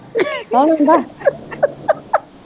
ਕੌਣ ਆਂਦਾ